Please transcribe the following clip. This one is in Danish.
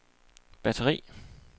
batteri